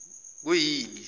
kuyini